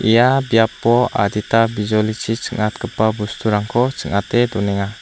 ia biapo adita bijolichi ching·atgipa bosturangko ching·ate donenga.